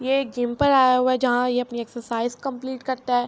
ےع عک جیم پار اےا حءا حای، جاحان ےع اپنی عشعرسیچع چہمپلعت کرتا حای۔.